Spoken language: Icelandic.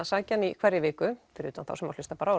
sækja hann í hverri viku fyrir utan þá sem hlusta bara